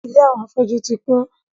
Ìlé àwọn afọ́jú ti kun